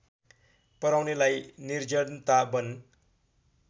पराउनेलाई निर्जनता वन